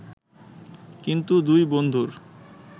কিন্তু দুই বন্ধুর